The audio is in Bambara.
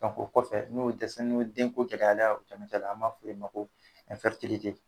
K'a fɔ o kɔfɛ n'o dɛsɛ n' o ye den ko gɛlɛya an b'a fɔ ma ko